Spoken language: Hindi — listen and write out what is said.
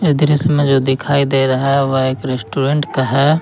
दृश्य में जो दिखाई दे रहा है वह एक रेस्टोरेंट का है।